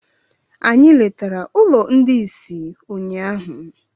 Anyị letara ụlọ ndị ìsì ụnyaahụ.